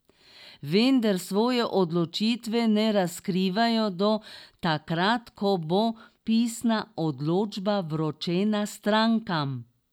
Vendar svoje odločitve ne razkrivajo do takrat, ko bo pisna odločba vročena strankam.